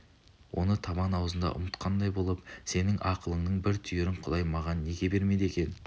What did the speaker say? оны табан аузында ұмытқандай болыпсенің ақылыңның бір түйірін құдай маған неге бермеді екен